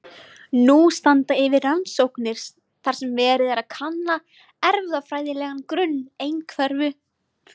Nú standa yfir rannsóknir þar sem verið er að kanna erfðafræðilegan grunn einhverfu.